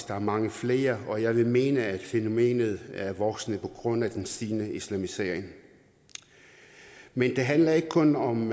der er mange flere og jeg vil mene at fænomenet er voksende på grund af den stigende islamisering men det handler ikke kun om